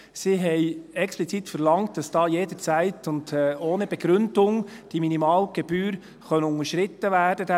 Sie haben explizit verlangt, dass da «jederzeit und ohne Begründung» die Minimalgebühr, dieser Minimaltarif unterschritten werden könne.